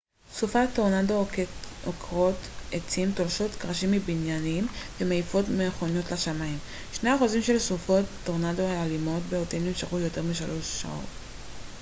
סופות טורנדו עוקרות עצים תולשות קרשים מבניינים ומעיפות מכוניות לשמיים שני האחוזים של סופות טורנדו האלימות ביותר נמשכות יותר משלוש שעות